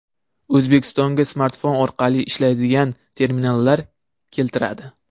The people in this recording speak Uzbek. O‘zbekistonga smartfon orqali ishlaydigan terminallar keltiriladi.